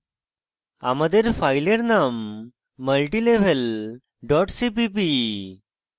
আমাদের file name multilevel dot cpp